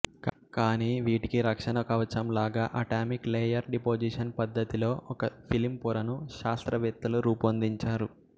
కానీ వీటికి రక్షణ కవచంలాగా ఆటామిక్ లేయర్ డిపొజిషన్ పద్ధతిలో ఒక ఫిల్మ్ పొరను శాస్త్రవేత్తలు రూపొందించారు